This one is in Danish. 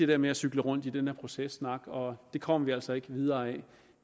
der med at cykle rundt i den processnak og det kommer vi altså ikke videre af